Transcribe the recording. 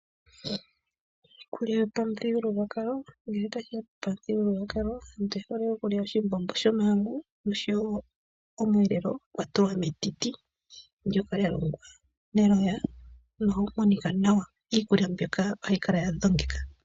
Iikulya yopamuthigululwakalo, ngele tashiya pamuthigululwakalo aantu iyehole okulya oshimbombo shomahangu oshowo omweelelo gwatulwa metiti ndjoka lya longwa meloya nohayi monika nawa. Iikulya mbika ohayi kala ya dhogekeka.